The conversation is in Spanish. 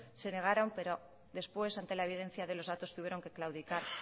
se negaron pero después ante la evidencia de los datos tuvieron que claudicar